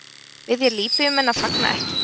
Biðja Líbýumenn að fagna ekki